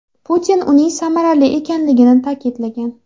Putin uning samarali ekanligini ta’kidlagan.